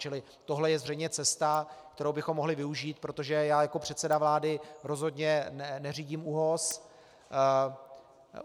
Čili tohle je zřejmě cesta, kterou bychom mohli využít, protože já jako předseda vlády rozhodně neřídím ÚOHS.